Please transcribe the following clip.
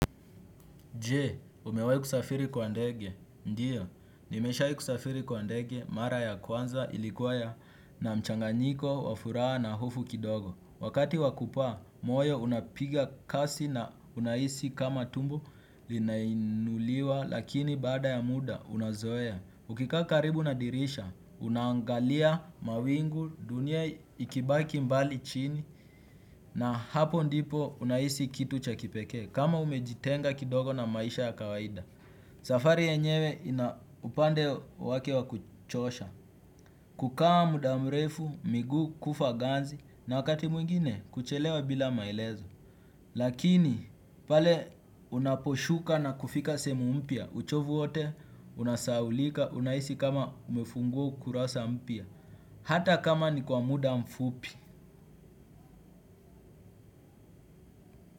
Je, umewai kusafiri kwa ndege? Ndiyo, nimesha kusafiri kwa ndege, mara ya kwanza ilikuwa ya na mchanganyiko, wafuraa na hofu kidogo. Wakati wakupaa, moyo unapiga kasi na unahisi kama tumbo linainuliwa, lakini baada ya muda, unazoea. Ukikaa karibu nadirisha, unaangalia mawingu dunia ikibaki mbali chini na hapo ndipo unahisi kitu cha kipekee. Kama umejitenga kidogo na maisha ya kawaida. Safari yenyewe inaupande wake wa kuchosha. Kukaa muda mrefu, migu, kufa ganzi. Na wakati mwingine kuchelewa bila maelezo. Lakini pale unaposhuka na kufika sehemu mpya uchovu wote, unasahaulika, unahisi kama umefungua kurasa mpya hata kama ni kwa muda mfupi.